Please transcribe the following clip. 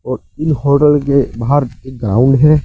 और ई होटल के बाहर एक ग्राउंड है।